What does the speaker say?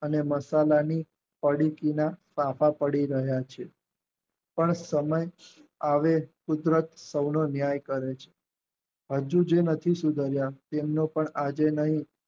અને મસાલાની પડીકીમાં ફાંફા પડી રહ્યા છે પણ સમય આવે તો કુદરત કોઈનો ન્યાય કરે છે. હજુ જે નથી સુધાર્યા તેમને પણ આજે નહિ